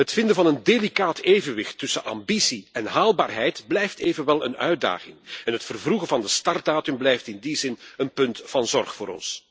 Het vinden van een delicaat evenwicht tussen ambitie en haalbaarheid blijft evenwel een uitdaging en het vervroegen van de startdatum blijft in die zin een punt van zorg voor ons.